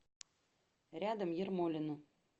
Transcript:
рядом ермолино